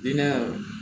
Bina